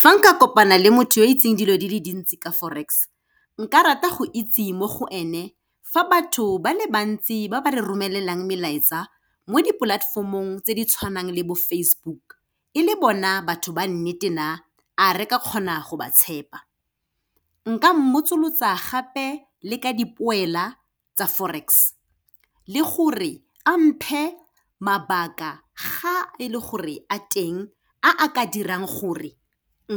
Fa nka kopana le motho yoo itseng dilo di le dintsi ka Forex, nka rata go itse mo go ene, fa batho ba le bantsi ba ba re romelelang melaetsa, mo dipolatefomong tse di tshwanang le bo Facebook, e le bona batho ba nnete na, a re ka kgona go ba tshepa. Nka mmotsolotsa gape le ka dipoela tsa Forex, le go re amphe mabaka ga e le gore a teng, a a ka dirang gore